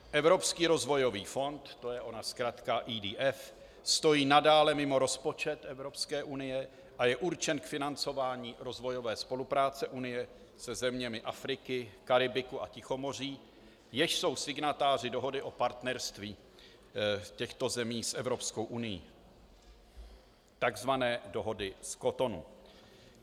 Evropský rozvojový fond, to je ona zkratka EDF, stojí nadále mimo rozpočet Evropské unie a je určen k financování rozvojové spolupráce Unie se zeměmi Afriky, Karibiku a Tichomoří, jež jsou signatáři dohody o partnerství těchto zemí s Evropskou unií, takzvané dohody z Cotonu.